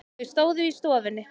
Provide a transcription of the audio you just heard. Þau stóðu í stofunni.